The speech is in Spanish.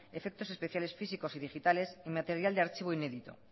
efectos especiales físicos y digitales material de archivo inédito